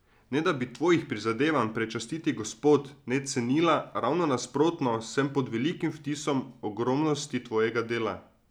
Ne da bi Tvojih prizadevanj, prečastiti gospod, ne cenila, ravno nasprotno, sem pod velikim vtisom ogromnosti Tvojega dela.